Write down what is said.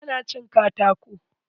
Gara na cin katako.